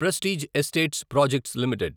prestige estates projects limited